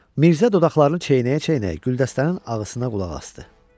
Mirzə dodaqlarını çeynəyə-çeynəyə Güldəstənin ağısına qulaq asdı.